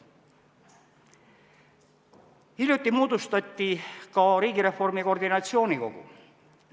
Hiljuti moodustati ka riigireformi koordinatsioonikogu.